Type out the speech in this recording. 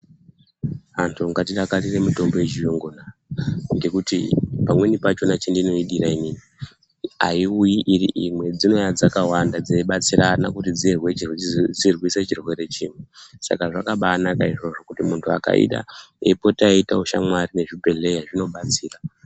Antu ngatidakarire mitombo yechirungu ngekuti pamweni pacho pandoidira inini aiuyi iri imwe dzinouya dzakawanda dzeibatsirana kuriswa chirwere chiri Saka zvakabanaka izvozvo muntu akaida eipota achiita shamwari yezvibhedhlera zvinobatsira.